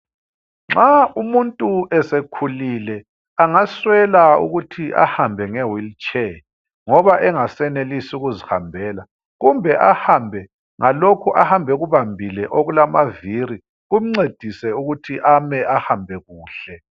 Nxa umuntu esekhulile, angaswela ukuthi ahambe nge wheelchair ngoba engasenelisi ukuzihambela kumbe ahambe ngalokhu ahamba ekubambile okulama viri kumncedise ukuthi ame, ahambe kuhle.